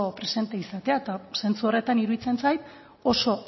presente izatea eta zentzu horretan iruditzen zait oso